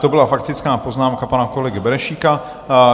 To byla faktická poznámka pana kolegy Benešíka.